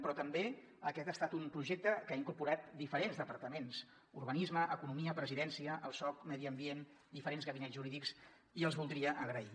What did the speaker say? però també aquest ha estat un projecte que ha incorporat diferents departaments urbanisme economia presidència el soc medi ambient diferents gabinets jurídics i els voldria donar les gràcies